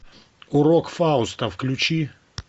урок фауста включи